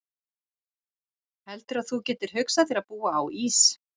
Heldurðu að þú getir hugsað þér að búa á Ís